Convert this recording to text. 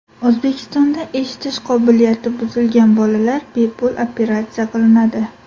O‘zbekistonda eshitish qobiliyati buzilgan bolalar bepul operatsiya qilinadi.